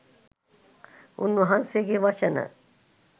උන්වහන්සේගේ වචන